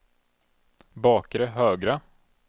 bakre högra